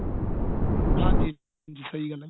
ਹਾਂਜੀ ਸਹੀ ਗੱਲ ਹੈ ਜੀ